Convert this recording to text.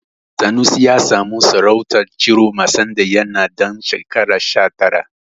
Sanusi ya samu sarautar Ciroma sanda yana ɗan shekara sha tara.